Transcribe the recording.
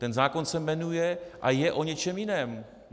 Ten zákon se jmenuje a je o něčem jiném.